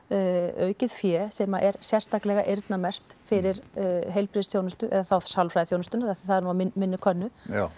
aukið fé sem er sérstaklega eyrnamerkt fyrir heilbrigðisþjónustu eða þá sálfræðiþjónustuna því það er nú á minni könnu